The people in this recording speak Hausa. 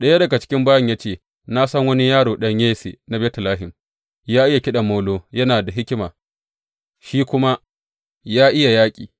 Ɗaya daga cikin bayin ya ce, Na san wani yaro, ɗan Yesse na Betlehem, ya iya kiɗan molo, yana da hikima, shi kuma ya iya yaƙi.